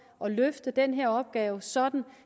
at løfte den her opgave sådan